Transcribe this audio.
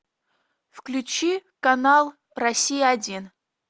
включи канал россия один